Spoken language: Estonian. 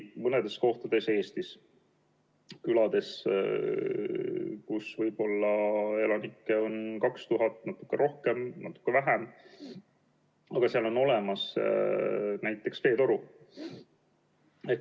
Mõnedes kohtades Eestis, külades, kus elanikke on võib-olla 2000, natuke rohkem või natuke vähem, on olemas näiteks veetoru.